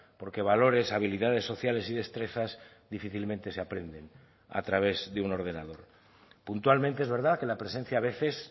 porque valores habilidades sociales y destrezas difícilmente se aprenden a través de un ordenador puntualmente es verdad que la presencia a veces